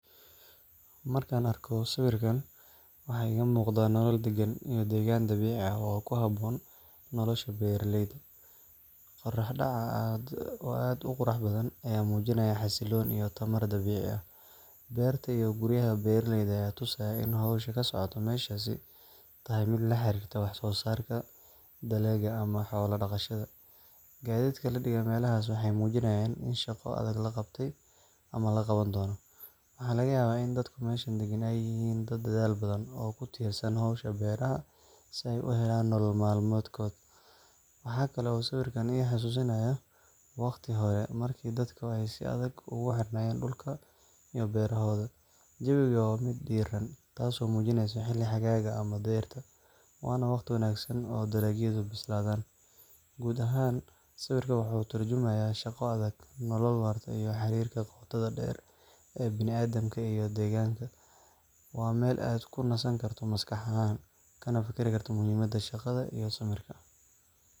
Markaan arko sawirkan, waxa iiga muuqda nolol daggan iyo degaan dabiici ah oo ku habboon nolosha beeraleyda. Qorrax dhaca oo aad u qurux badan ayaa muujinaya xasillooni iyo tamar dabiici ah. Beerta iyo guryaha beeraleyda ayaa tusaya in hawsha ka socota meeshaasi tahay mid la xiriirta wax soosaarka dalagga ama xoolo dhaqashada. Gaadiidka la dhigey meelahaas waxay muujinayaan in shaqo adag la qabtay ama la qaban doono. Waxaa laga yaabaa in dadka meesha degan ay yihiin dad dadaal badan oo ku tiirsan hawsha beeraha si ay u helaan nolol maalmeedkooda. Waxa kale oo sawirkan i xasuusinayaa waqtigii hore, markii dadku si aad ah ugu xirnaayeen dhulka iyo beerahooda. Jawigu waa mid diirran, taasoo muujinaysa xilli xagaaga ama dayrta, waana wakhti wanaagsan oo dalagyadu bislaadaan. Guud ahaan, sawirkani wuxuu ka tarjumayaa shaqo adag, nolol waarta, iyo xiriirka qotada dheer ee bini'aadamka iyo deegaanka. Waa meel aad ku nasan karto maskax ahaan, kana fakari karto muhiimadda shaqada iyo samirka.